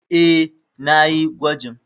E, na yi gwajin.